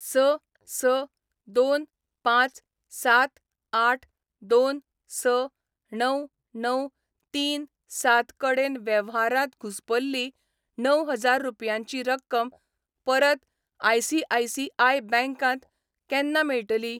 स स दोन पांच सात आठ दोन स णव णव तीन सात कडेन वेव्हारांत घुसपल्ली णव हजार रुपयांची रक्कम परत आय.सी.आय.सी.आय बँक त केन्ना मेळटली?